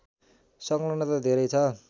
संलग्नता धेरै छ